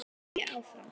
held ég áfram.